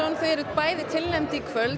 þau eruð bæði tilnefnd í kvöld